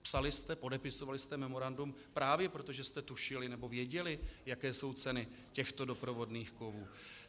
Psali jste, podepisovali jste memorandum právě proto, že jste tušili, nebo věděli, jaké jsou ceny těchto doprovodných kovů?